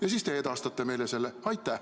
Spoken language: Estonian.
Ja siis te edastate selle info meile.